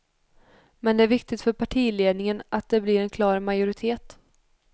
Men det är viktigt för partiledningen att det blir en klar majoritet.